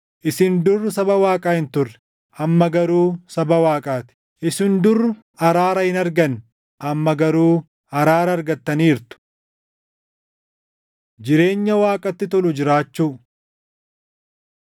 Isin dur saba Waaqaa hin turre; amma garuu saba Waaqaa ti; isin dur araara hin arganne; amma garuu araara argattaniirtu. Jireenya Waaqatti Tolu Jiraachuu